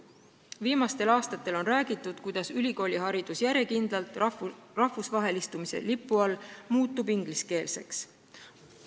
Viimastel aastatel on räägitud, kuidas ülikooliharidus rahvusvahelistumise lipu all järjekindlalt ingliskeelseks muutub.